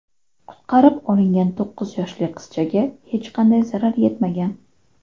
Qutqarib olingan to‘qqiz yoshli qizchaga hech qanday zarar yetmagan.